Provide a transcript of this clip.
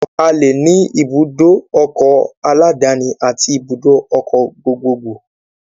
A le ní ibùdó ọkọ̀ aláàdáni àti ibùdó ọkọ̀ gbogbo gbò